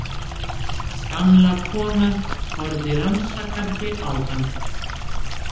Gamla konan horfði rannsakandi á hann.